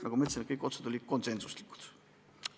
Nagu ma ütlesin, kõik otsused olid konsensuslikud.